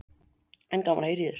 En gaman að heyra í þér.